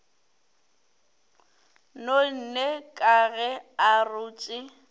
nonne ka ge a rotše